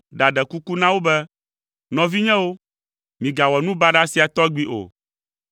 ɖaɖe kuku na wo be, “Nɔvinyewo, migawɔ nu baɖa sia tɔgbi o.